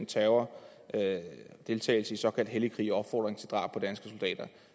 terror deltagelse i såkaldt hellig krig og drab på danske soldater